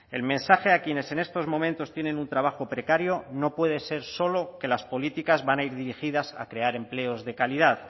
el mensaje a quienes en estos momentos tienen un trabajo precario no puede ser solo que las políticas van a ir dirigidas a crear empleos de calidad